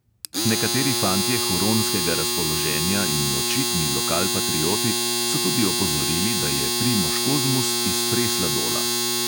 Nekateri fantje huronskega razpoloženja in očitni lokalpatrioti so tudi opozorili, da je primož kozmus iz presladola.